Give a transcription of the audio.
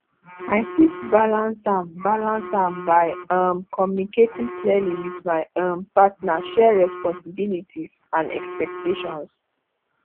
i fit balance am balance am by um communicating clearly with my um partner share responsibilities and expectations